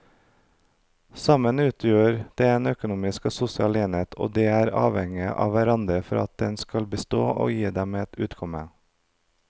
Sammen utgjør de en økonomisk og sosial enhet og de er avhengige av hverandre for at den skal bestå og gi dem et utkomme.